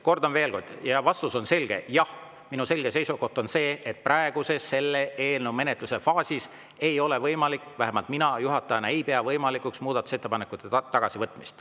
Kordan veel kord, vastus on selge: jah, minu selge seisukoht on see, et selle eelnõu menetluse praeguses faasis ei ole see võimalik või vähemalt mina juhatajana ei pea võimalikuks muudatusettepanekute tagasivõtmist.